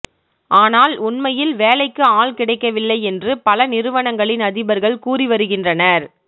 ஆனால் உண்மையில் வேலைக்கு ஆள் கிடைக்கவில்லை என்று பல நிறுவனங்களின் அதிபர்கள் கூறிவருகின்றனர்